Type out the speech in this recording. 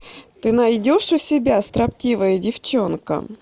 ты найдешь у себя строптивая девчонка